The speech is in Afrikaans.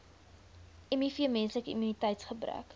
miv menslike immuniteitsgebrek